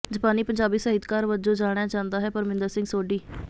ਜਪਾਨੀ ਪੰਜਾਬੀ ਸਾਹਿਤਕਾਰ ਵਜੋਂ ਜਾਣਿਆ ਜਾਂਦਾ ਹੈ ਪਰਮਿੰਦਰ ਸਿੰਘ ਸੋਢੀ